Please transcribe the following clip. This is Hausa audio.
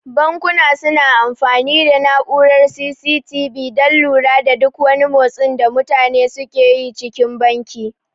Bankuna su na amfani da na'urar C.C.T.V dan lura da duk wani motsin da mutane suke yi cikin banki